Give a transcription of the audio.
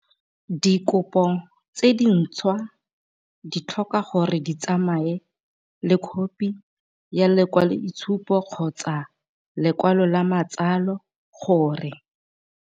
Dikopo tse dintšhwa di tlhoka gore di tsamaye le khophi ya lekwaloitshupo kgotsa ya lekwalo la matsalo gore.